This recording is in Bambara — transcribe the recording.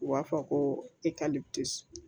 U b'a fɔ ko